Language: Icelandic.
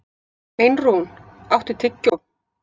Einrún, áttu tyggjó?